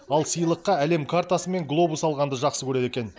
ал сыйлыққа әлем картасы мен глобус алғанды жақсы көреді екен